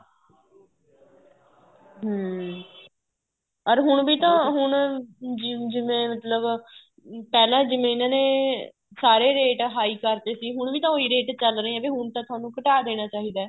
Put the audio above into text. ਹਮ ਅਰ ਹੁਣ ਤਾਂ ਹੁਣ ਜਿਵੇਂ ਮਤਲਬ ਪਹਿਲਾਂ ਜਿਵੇਂ ਇਹਨਾ ਨੇ ਸਾਰੇ ਰੇਟ high ਕਰਤੇ ਸੀ ਹੁਣ ਵੀ ਤਾਂ ਉਹੀ ਰੇਟ ਚੱਲ ਰਹੇ ਹੈਗੇ ਹੁਣ ਤਾਂ ਤੁਹਾਨੂੰ ਘਟਾ ਦੇਣਾ ਚਾਹੀਦਾ ਏ